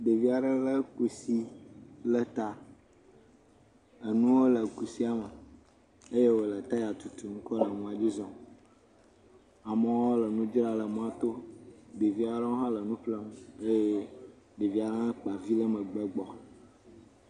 Ɖevia ɖe le kusi ɖe ta. Enuwo le kusia me eye wole taya tutum kɔ le mɔa dzi zɔm. Amewo le nudzra le mɔto. Ɖevia ɖewo hã le nu ƒlem eye ɖevia hã kpa vi ɖe megbe gbɔ.